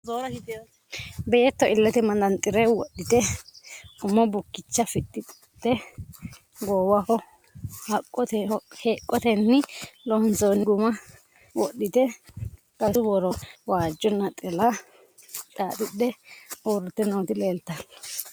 Beetto iillette maxanxxire wodhitte umo bukkicha fixxitte, goowaho heqottenni loonsoonni gumma wodhitte gagassu woro waajjo naxxalla xaaxidhe uuritte nootti leelittanno